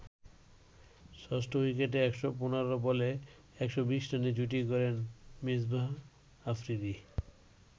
ষষ্ঠ উইকেটে ১১৫ বলে ১২০ রানের জুটি গড়েন মিসবাহ-আফ্রিদি।